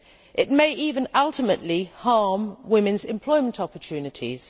It may even ultimately harm women's employment opportunities.